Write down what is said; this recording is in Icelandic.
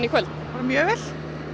kvöld bara mjög vel